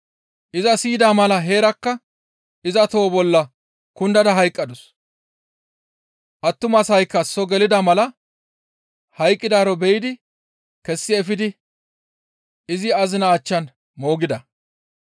Iza siyida mala heerakka iza toho bolla kundada hayqqadus. Attumasaykka soo gelida mala hayqqidaaro be7idi kessi efidi izi azinaa achchan izo moogida.